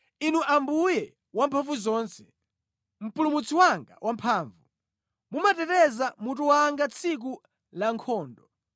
Inu Ambuye Wamphamvuzonse, Mpulumutsi wanga wamphamvu, mumateteza mutu wanga tsiku lankhondo.